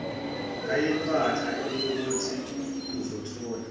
ngayiphatha eyokuthi uzothola